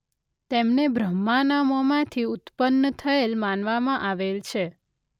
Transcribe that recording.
તેમને બ્રહ્માના મોંમાંથી ઉત્પન્ન થયેલ માનવામાં આવેલ છે.